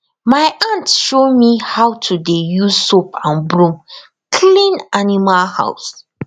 my aunt show me how to dey use soap and broom clean animal house